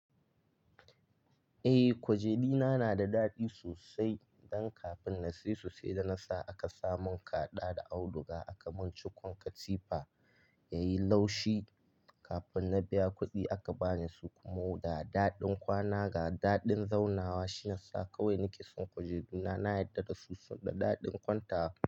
Eh, kwajenina na da daɗi sosai don kafin na sayi su sai da na sa aka samun kaɗa da auduga aka mun cikun katifa yayi laushi. Kafin na biya kuɗi aka bani surkumo da daɗin kwana ga daɗin zaunawa. Shiyasa kawai nake son kwajeduna, na yarda da su su da daɗin kwantawa.